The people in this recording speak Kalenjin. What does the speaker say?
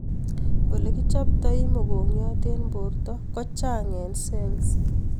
Olee kichaptai mongongiot en borto ko chang en cells